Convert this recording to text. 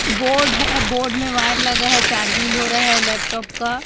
Board है board में wire लगा है चार्जिंग हो रहा है लैपटॉप का।